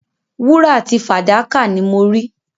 Wúrà àti fàdákà ni mo rí.